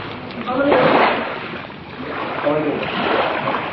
হা মানে Warden সবাই কেই দেয় আচ্ছা আচ্ছা